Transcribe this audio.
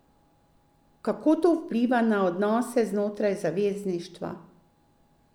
Kako to vpliva na odnose znotraj zavezništva?